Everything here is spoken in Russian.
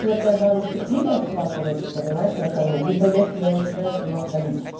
четвёртая баночка пива шла короче понимаешь на кону либо я себя начинаю сама хвалить